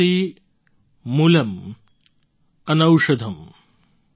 नास्ति मूलम् अनौषधम्